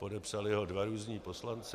Podepsali ho dva různí poslanci.